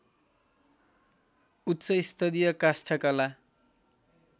उच्च स्तरीय काष्ठकला